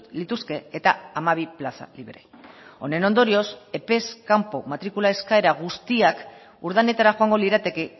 lituzke eta hamabi plaza libre honen ondorioz epez kanpo matrikula eskaera guztiak urdanetara joango lirateke